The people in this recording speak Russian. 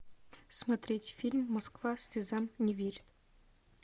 смотреть фильм москва слезам не верит